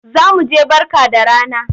Za mu je Barka da rana.